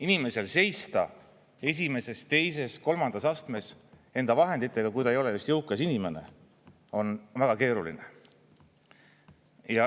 Inimesel seista esimeses, teises, kolmandas astmes enda vahenditega, kui ta ei ole just jõukas inimene, on väga keeruline.